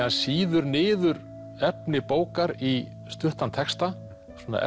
hann sýður niður efni bókar í stuttan texta svona